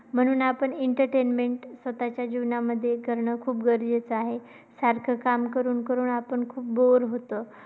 म्हणून आपण entertainment स्वतःच्या जीवनामध्ये करणे खूप गरजेचे आहे. सारखं काम करून करून आपण खूप bore होतो.